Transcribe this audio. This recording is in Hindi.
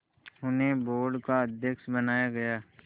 उन्हें बोर्ड का अध्यक्ष बनाया गया